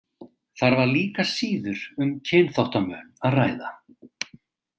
Þar var líka síður um kynþáttamun að ræða.